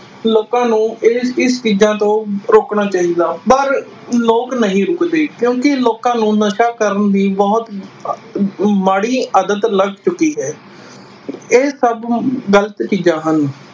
ਲੋਕਾਂ ਨੂੰ ਇਹ ਇਸ ਚੀਜ਼ਾਂ ਤੋਂ ਰੋਕਣਾ ਚਾਹੀਦਾ ਪਰ ਲੋਕ ਨਹੀਂ ਰੁਕਦੇ ਕਿਉਕਿ ਲੋਕਾਂ ਨੂੰ ਨਸ਼ਾ ਕਰਨ ਦੀ ਬੁਹਤ ਮਾੜੀ ਆਦਤ ਲਗ ਚੁਕੀ ਹੈ ਇਹ ਸਬ ਹੁਣ ਗ਼ਲਤ ਚੀਜ਼ਾਂ ਹਨ।